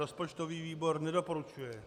Rozpočtový výbor nedoporučuje.